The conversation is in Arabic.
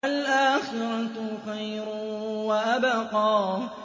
وَالْآخِرَةُ خَيْرٌ وَأَبْقَىٰ